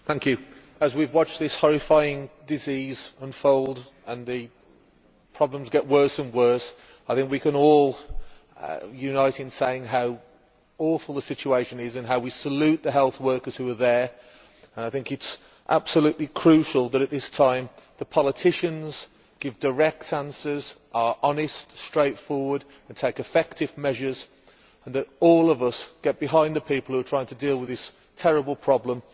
Mr President, as we have watched this horrifying disease unfold and the problems get worse and worse, I think we can all unite in saying how awful the situation is and how we salute the health workers who are there. I think it is absolutely crucial that at this time the politicians give direct answers, are honest, straightforward and take effective measures, and that all of us get behind the people who are trying to deal with this terrible problem.